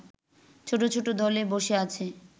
ছোট ছোট দলে বসে আছে